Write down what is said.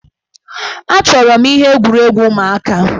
Achọrọ m ihe egwuregwu ụmụaka.